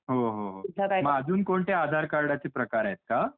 हो हो म्हणजे अजून कोणते आधार कार्ड चे प्रकार आहेत काय. कोणते ते